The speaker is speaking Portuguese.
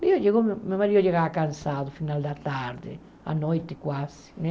Meu marido chegava cansado no final da tarde, à noite quase né.